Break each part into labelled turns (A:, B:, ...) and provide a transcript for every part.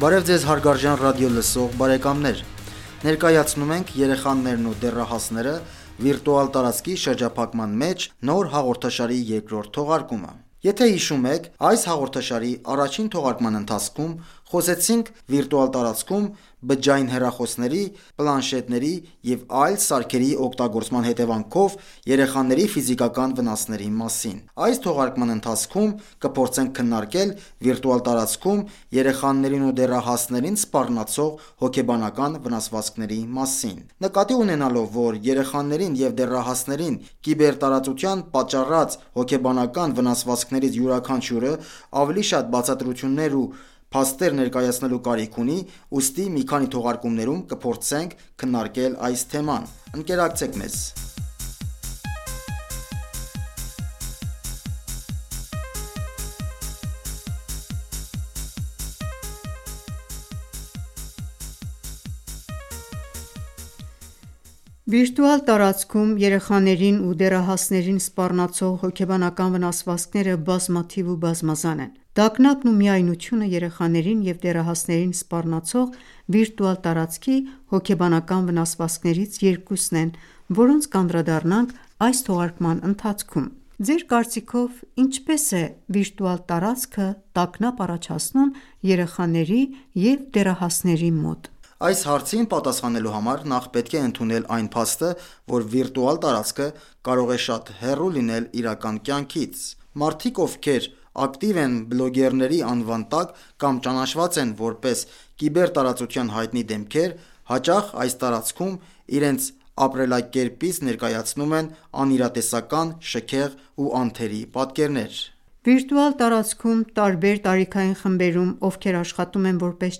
A: Բարև ձեզ հարգարժան ռադիոլսող բարեկամներ։ Ներկայացնում ենք «Երեխաներն ու դեռահասները՝ վիրտուալ տարածքի շրջափակման մեջ» նոր հաղորդաշարի երկրորդ թողարկումը։ Եթե հիշում եք, այս հաղորդաշարի առաջին թողարկման ընթացքում խոսեցինք վիրտուալ տարածքում բջջային հեռախոսների, պլանշետների և այլ սարքերի օգտագործման հետևանքով երեխաների ֆիզիկական վնասների մասին։ Այս թողարկման ընթացքում կփորձենք քննարկել վիրտուալ տարածքում երեխաներին ու դեռահասներին սպառնացող հոգեբանական վնասվածքների մասին։ Նկատի ունենալով, որ երեխաներին և դեռահասներին կիբերտարածության պատճառած հոգեբանական վնասվածքներից յուրաքանչյուրը ավելի շատ բացատրություններ ու փաստեր ներկայացնելու կարիք ունի, ուստի մի քանի թողարկումներում կփորձենք քննարկել այս թեման։ Ընկերակցեք մեզ։
B: Վիրտուալ տարածքում երեխաներին ու դեռահասներին սպառնացող հոգեբանական վնասվածքները բազմաթիվ ու բազմազան են։ Տանգապն ու միայնությունը երեխաներին և դեռահասներին սպառնացող վիրտուալ տարածքի հոգեբանական վնասվածքներից երկուսն են, որոնց կանդրադառնանք այս թողարկման ընթացքում։ Ձեր կարծիքով՝ ինչպե՞ս է վիրտուալ տարածքը տագնապ առաջացնում երեխաների և դեռահասների մոտ։
A: Այս հարցին պատասխանելու համար նախ պետք է ընդունել այն փաստը, որ վիրտուալ տարածքը կարող է շատ հեռու լինել իրական կյանքից: Մարդիկ, ովքեր ակտիվ են բլոգերների անվան տակ կամ ճանաչված են որպես կիբերտարածության հայտնի դեմքեր, հաճախ այս տարածքում իրենց ապրելակերպից ներկայացնում են անիրատեսական, շքեղ ու անթերի պատկերներ։
B: Վիրտուալ տարածքում տարբեր տարիքային խմբերում, ովքեր աշխատում են որպես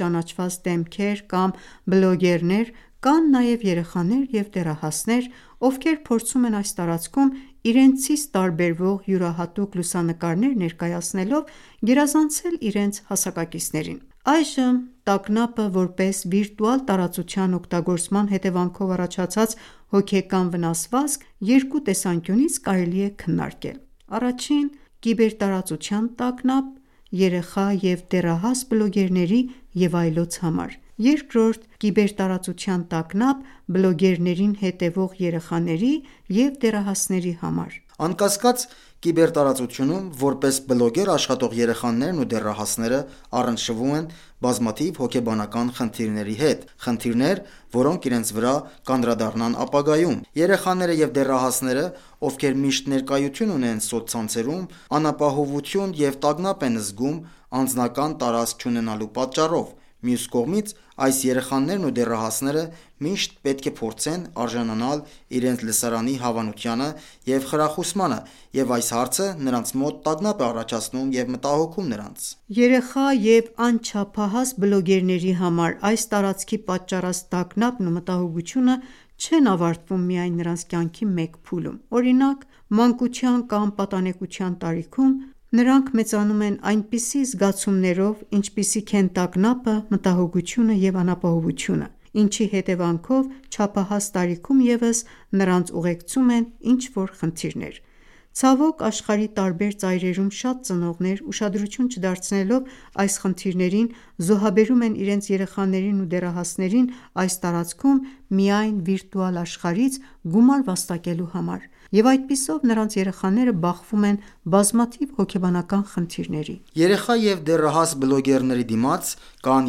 B: ճանաչված դեմքեր կամ բլոգերներ, կան նաև երեխաներ և դեռահասներ, ովքեր փորձում են այս տարածքում իրենցից տարբեվող յուրահատուկ լուսանկարներ ներկայացնելով գերազանցել իրենց հասակակիցներին։ Այժմ «տագնապը» որպես վիրտուալ տարածության օգտագործման հետևանքով առաջացած հոգեկան վնասվածք երկու տեսանկյունից կարելի է քննարկել։ Առաջին՝ կիբերտարածության տագնապ՝ երեխա և դեռահաս բլոգերների և այլոց համար։ Երկրորդ՝ կիբերտարածության տագնապ՝ բլոգերներին հետևող երեխաների և դեռահասների համար:
A: Անկասկած, կիբերտարածությունում որպես բլոգեր աշխատող երեխաներն ու դեռահասները առնչվում են բազմաթիվ հոգեբանական խնդիրների հետ, խնդիրներ, որոնք իրենց վրա կանդրադառնան ապագայում։ Երեխաները և դեռահասները, ովքեր միշտ ներկայություն ունեն սոցցանցերում, անապահովություն և տագնապ են զգում ,անձնական տարածք չունենալու պատճառով: Մյուս կողմից, այս երեխաներն ու դեռահասները միշտ պետք է փորձեն արժանանալ իրենց լսարանի հավանությանը և խրախուսմանը, և այս հարցը նրանց մոտ տագնապ է առաջացնում և մտահոգում նրանց։
B: Երեխա և անչափահաս բլոգերների համար այս տարածքի պատճառած տագնապն ու մտահոգությունը չեն ավարտվում միայն նրանց կյանքի մեկ փուլում, օրինակ՝ մանկության կամ պատանեկության տարիքում, այլ նրանք մեծանում են այնպիսի զգացումներով, ինչպիսիք են տագնապը, մտահոգությունը և անապահովությունը, ինչի հետևանքով չափահաս տարիքում ևս նրանց ուղեկցում են ինչ-որ խնդիրներ։ Ցավոք, աշխարհի տարբեր ծայրերում շատ ծնողներ, ուշադրություն չդարձնելով այս խնդիրներին, զոհաբերում են իրենց երեխաներին ու դեռահասներին այս տարածքում՝ միայն վիրտուալ աշխարհից գումար վաստակելու համար, և այդպիսով նրանց երեխաները բախվում են բազմաթիվ հոգեբանական խնդիրների։
A: Երեխա և դեռահաս բլոգերների դիմաց կան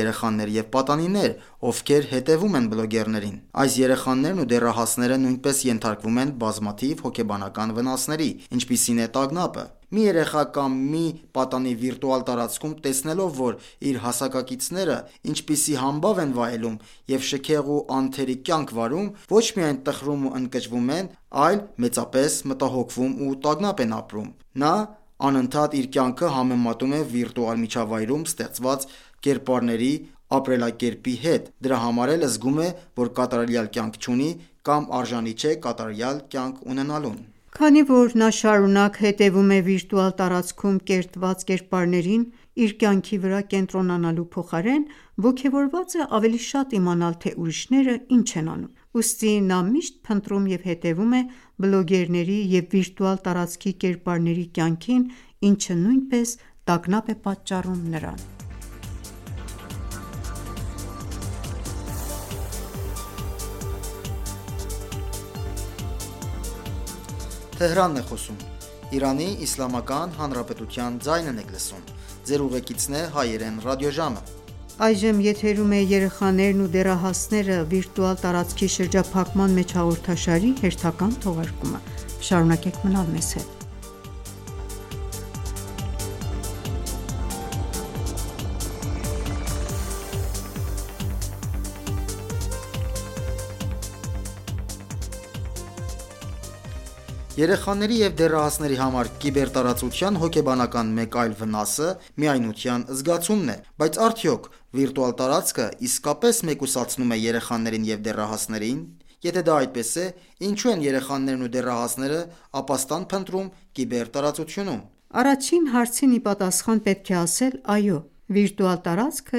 A: երեխաներ և պատանիներ, ովքեր հետևում են բլոգերներին։ Այս երեխաներն ու դեռահասները նույնպես ենթարկվում են բազմաթիվ հոգեբանական վնասների, ինչպիսին է տագնապը։ Մի երեխա կամ մի պատանի վիրտուալ տարածքում տեսնելով, որ իր հասակակիցները ինչպիսի համբավ են վայելում և շքեղ ու անթերի կյանք վարում, ոչ միայն տխրում ու ընկճվում են, այլ մեծապես մտահոգվում ու տագնապ են ապրում։ Նա անհընդհատ իր կյանքը համեմատում է վիրտուալ միջավայրում ստեղծված կերպարների ապրելակերպի հետ, դրա համար էլ զգում է, որ կատարյալ կյանք չունի կամ արժանի չէ կատարյալ կյանք ունենալուն։
B: Քանի որ նա շարունակ հետևում է վիրտուալ տարածքում կերտված կերպարներին, իր կյանքի վրա կենտրոնանալու փոխարեն, ոգևորված է ավելի շատ իմանալ թե ուրիշները ինչ են անում։ Ուստի նա միշտ փնտրում և հետևում է բլոգերների և վիրտուալ տարածքի կերպարների կյանքին, ինչը նույնպես տագնապ է պատճառում նրան:
A: Երեխաների և դեռահասների համար կիբերտարածության հոգեբանական մեկ այլ վնասը միայնության զգացումն է։ Բայց արդյո՞ք վիրտուալ տարածքը իսկապես մեկուսացնում է երեխաներին և դեռահասներին: Եթե դա այդպես է, ինչո՞ւ են երեխաներն ու դեռահասները ապաստան փնտրում կիբերտարածությունում:
B: Առաջին հարցին ի պատասխան՝ պետք է ասել՝ «Այո», վիրտուալ տարածքը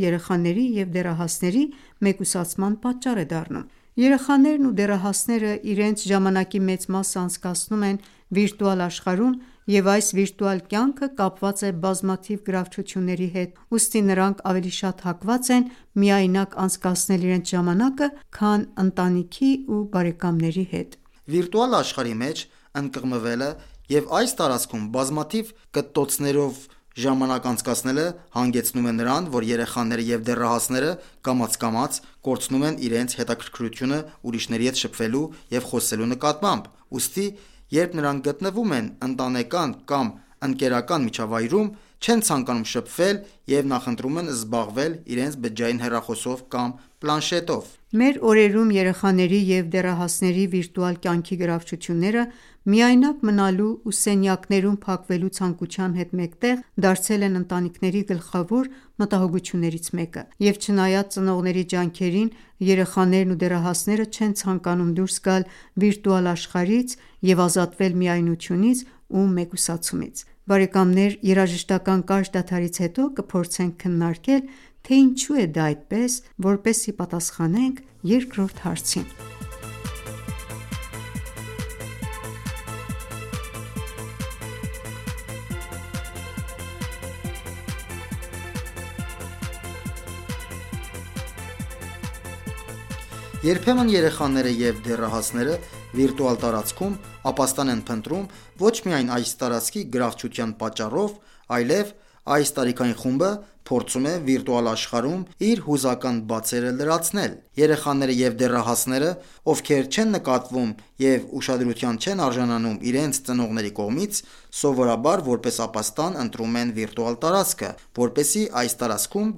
B: երեխաների և դեռահասների մեկուսացման պատճառ է դառնում։ Երեխաներն ու դեռահասները իրենց ժամանակի մեծ մասը անցկացնում են վիրտուալ աշխարհում, և այս վիրտուալ կյանքը կապված է բազմաթիվ գրավչությունների հետ, ուստի նրանք ավելի շատ հակված են միայնակ անցկացնել իրենց ժամանակը քան ընտանիքի ու բարեկամների
A: հետ։ Վիրտուալ աշխարհի մեջ ընկղմվելը և այս տարածքում բազմաթիվ կտտոցներով ժամանակ անցկացնելը հանգեցնում է նրան, որ երեխաները և դեռահասները կամաց-կամաց կորցնում են իրենց հետաքրքրությունը ուրիշների հետ շփվելու և խոսելու նկատմամբ, ուստի երբ նրանք գտնվում են ընտանեկան կամ ընկերական միջավայրում, չեն ցանկանում շփվել և նախընտրում են զբաղվել իրենց բջջային հեռախոսով կամ պլանշետով։
B: Մեր օրերում երեխաների և դեռահասների վիրտուալ կյանքի գրավչությունները միայնակ մնալու ու սենյակներում փակվելու ցանկության հետ մեկտեղ, դարձել են ընտանիքների գլխավոր մտահոգություններից մեկը, և չնայած ծնողների ջանքերին, երեխաներն ու դեռահասները չեն ցանկանում դուրս գալ վիրտուալ աշխարհից և ազատվել միայնությունից ու մեկուսացումից։ Երաժշտական կարճ դադարից հետո կփորձենք քննարկել թե ինչո՞ւ է դա այդպես, որպեսզի պատասխանենք երկրորդ հարցին:
A: Երբեմն երեխաները և դեռահասները վիրտուալ տարածքում ապաստան են փնտրում, ոչ միայն այս տարածքի գրավչության պատճառով, այլև այս տարիքային խումբը փորձում է վիրտուալ աշխարհում իր հուզական բացերը լրացնել: Երեխաները և դեռահասները, ովքեր չեն նկատվում և ուշադրության չեն արժանանում իրենց ծնողների կողմից, սովորաբար որպես ապաստան ընտրում են վիրտուալ տարածքը,, որպեսզի այս տարածքում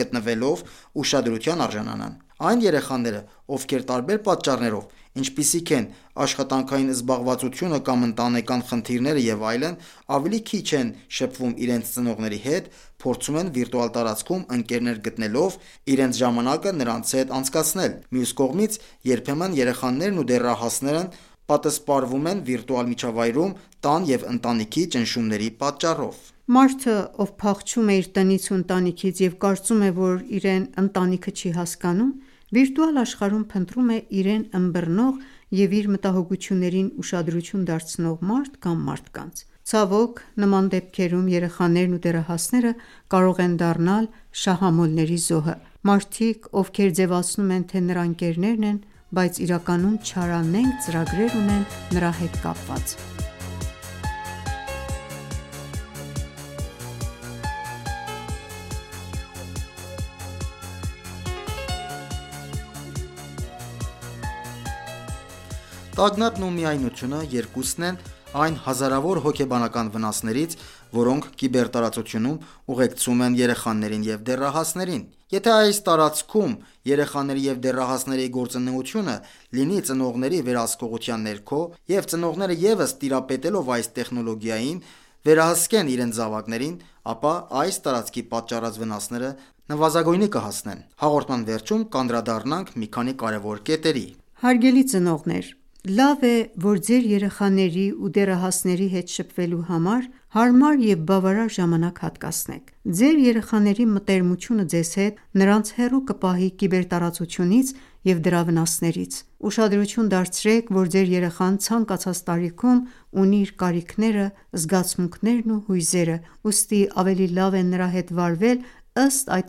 A: գտնվելով, ուշադրության արժանանան։ Այն երեխաները, ովքեր տարբեր պատճառներով, ինչպիսիք են աշխատանքային զբաղվածությունը կամ ընտանեկան խնդիրները և այլն, ավելի քիչ են շփվում իրենց ծնողների հետ, փորձում են վիրտուալ տարածքում ընկերներ գտնելով, իրենց ժամանակը նրանց հետ անցկացնել։ Մյուս կողմից, երբեմն երեխաներն ու դեռահասները պատսպարվում են վիրտուալ միջավայրում՝ տան և ընտանիքի ճնշումների պատճառով:
B: Մարդը, ով փախչում է իր տնից ու ընտանիքից և կարծում է, որ իրեն ընտանիքը չի հասկանում, վիրտուալ աշխարհում փնտրում է իրեն ըմբռնող և իր մտահոգություններին ուշադրություն դարձնով մարդ կամ մարդկանց։ Ցավոք նման դեպքերում երեխաներն ու դեռահասները կարող են դառնալ շահամոլների զոհը։ Մարդիկ, ովքեր ձևացնում են, թե նրա ընկերներն են, բայց իրականում չարանենգ ծրագրեր ունեն նրա հետ կապված։
A: Տագնապն ու միայնությունը երկուսն են այն հազարավոր հոգեբանական վնասներից, որոնք կիբերտարածությունում ուղեկցում են երեխաներին և դեռահասներին: Եթե այս տարածքում երեխաների և դեռահասների գործունեությունը լինի ծնողների վերահսկողության ներքո և ծնողները ևս տիրապետելով այս տեխնոլոգիային, վերահսկեն իրենց զավակներին, ապա այս տարածքի պատճառած վնասները նվազագույնի կհասնեն: Հաղորդման վերջում անդրադառնանք մի քանի կարևոր կետերի․
B: Հարգելի ծնողներ, լավ է,որ ձեր երեխաների ու դեռահասների հետ շփվելու համար, հարմար և բավարար ժամանակ հատկացնեք։ Ձեր երեխաների մտերմությունը ձեզ հետ, նրանց հեռու կպահի կիբերտարածությունից և դրա վնասներից: Ուշադրություն դարձրեք, որ ձեր երեխան ցանկացած տարիքում ունի իր կարիքները, զգացմունքներն ու հույզերը, ուստի ավելի լավ է նրա հետ վարվել ըստ այդ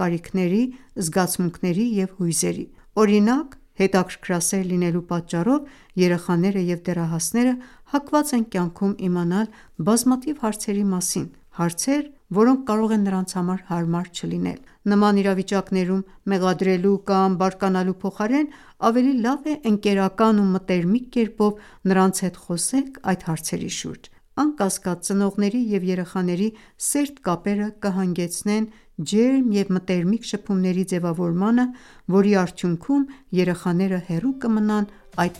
B: կարիքների, զգացմունքների և հույզերի: Օրինակ՝ հետաքրքրասեր լինելու պատճառով երեխաները և դեռահասները հակված են կյանքում իմանալ բազմաթիվ հարցերի մասին, հարցեր, որոնք կարող են նրանց համար հարմար չլինել: Նման իրավիճակներում մեղադրելու կամ բարկանալու փոխարեն ավելի լավ է ընկերական ու մտերմիկ կերպով նրանց հետ խոսեք այդ հարցերի շուրջ։ Անկասկած, ծնողների և երեխաների սերտ կապերը կհանգեցնեն ջերմ և մտերմիկ շփումների ձևավորմանը, որի արդյունքում երեխաները հեռու կմնան այդ